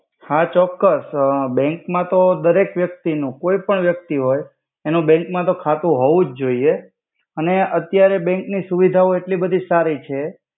હા ચોક્કસ બેંક માતો દરેક વ્યક્તિ નુ કોઇ પન વ્યક્તિ હોય એનુ બેંક મા તો ખાતુ હોવુજ જોઇયે. અને અત્યરે બેંક નુ સુવિધા એટલી બધી સારી છે.